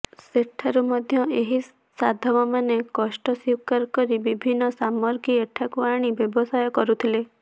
ସେଠାରୁ ମଧ୍ୟ ଏହି ସାଧବମାନେ କଷ୍ଟ ସ୍ୱୀକାର କରି ବିଭିନ୍ନ ସାମଗ୍ରୀ ଏଠାକୁ ଆଣି ବ୍ୟବସାୟ କରୁଥିଲେ